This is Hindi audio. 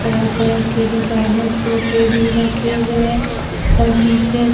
तरह तरह के डिजाइनर सोफे भी रखे हुए हैं फर्नीचर --